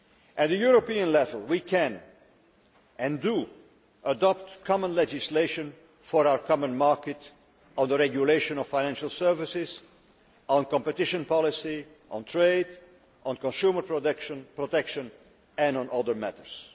At a European level, we can, and do, adopt common legislation for our common market on the regulation of financial services, on competition policy, on trade, on consumer protection and on other matters.